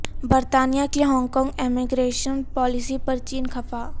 برطانیہ کی Hong Kong immigration policy پر چین خفا